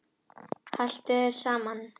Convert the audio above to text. Haltu þér saman